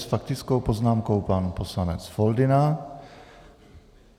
S faktickou poznámkou pan poslanec Foldyna.